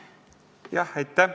Aitäh!